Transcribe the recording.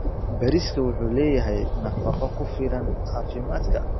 Bariiska wuxuu leeyahay nafaqo ku filan caafimaadka.